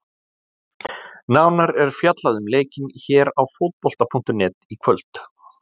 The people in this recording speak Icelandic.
Nánar er fjallað um leikinn hér á Fótbolta.net í kvöld.